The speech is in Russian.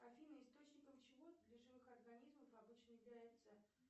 афина источником чего для живых организмов обычно является